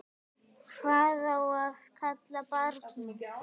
Hvað á að kalla barnið?